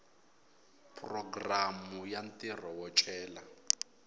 programu ya ntirho wo cela